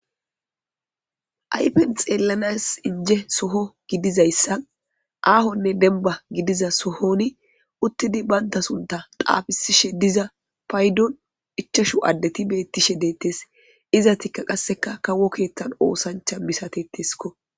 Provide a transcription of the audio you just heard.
Ayfen xeellanas inje soho gidizayssa aahonne denba gidiza sohoni uttidi baynta sunta qaafisishe diza paydon ichashu addeti beettishe deettes izatikka qasseka kawo keeththan oosancha misateteskko.